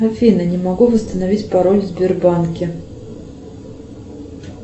афина не могу восстановить пароль в сбербанке